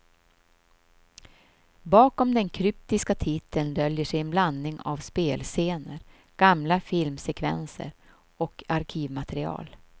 Bakom den kryptiska titeln döljer sig en blandning av spelscener, gamla filmsekvenser och arkivmaterial.